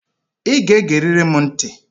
I ga-egerịrị m ntị